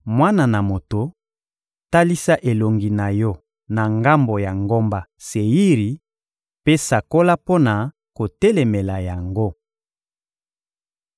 «Mwana na moto, talisa elongi na yo na ngambo ya ngomba Seiri mpe sakola mpo na kotelemela yango!